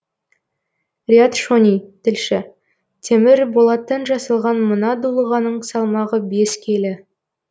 риат шони тілші темір болаттан жасалған мына дулығаның салмағы бес келі